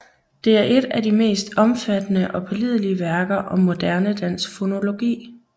Det er et af de mest omfattende og pålidelige værker om moderne dansk fonologi